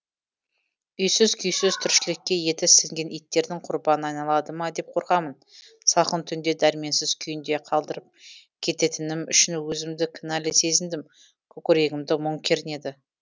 үйсіз күйсіз тіршілікке еті сіңген иттердің құрбанына айналады ма деп қорқамын салқын түнде дәрменсіз күйінде қалдырып кететінім үшін өзімді кінәлі сезіндім көкірегімді мұң кернеді